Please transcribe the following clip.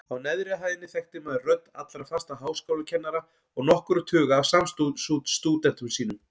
Á neðri hæðinni þekkti maður rödd allra fastra háskólakennara og nokkurra tuga af samstúdentum sínum.